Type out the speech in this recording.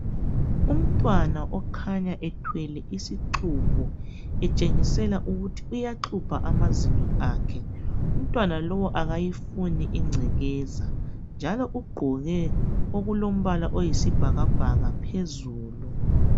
Umntwana okhanya ethwele isixhubho etshengisela ukuthi uyaxhubha amazinyo akhe umntwana lo akayifuni ingcekeza njalo ugqoke okulombala oyisibhakabhaka phezulu